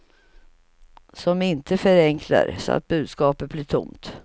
Som inte förenklar så att budskapet blir tomt.